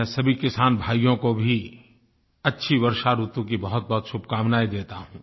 मैं सभी किसान भाइयों को भी अच्छी वर्षा ऋतु की बहुतबहुत शुभकामनायें देता हूँ